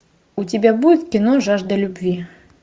у тебя будет кино жажда любви